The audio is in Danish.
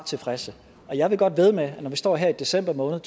tilfredse og jeg vil godt vædde med at når vi står her i december måned